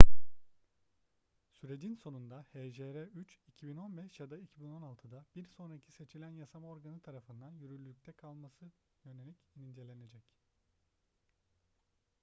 sürecin sonunda hjr-3 2015 ya da 2016'da bir sonraki seçilen yasama organı tarafından yürürlükte kalmasına yönelik incelenecek